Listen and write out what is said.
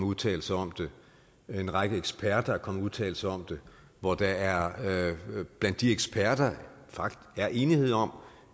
udtalelser om det en række eksperter er kommet med udtalelser om det og der er blandt de eksperter enighed om